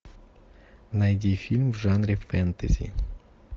найди фильм в жанре фэнтези